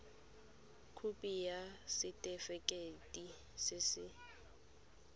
khopi ya setefikeiti se se